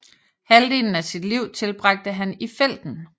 Halvdelen af sit liv tilbragte han i felten